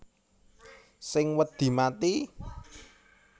Sing wedi mati